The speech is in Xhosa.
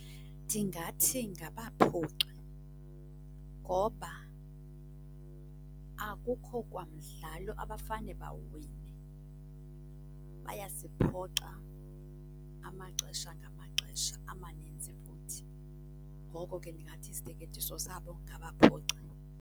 Ndingathi ngaBaphoxi ngoba akukho kwa mdlalo abafane bawuwine. Bayasiphoxa amaxesha ngamaxesha, amaninzi futhi, ngoko ke ndingathi isiteketiso sabo ngaBaphoxi.